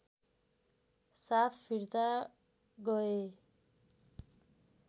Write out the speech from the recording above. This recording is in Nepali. साथ फिर्ता गए